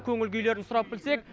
көңіл күйлерін сұрап білсек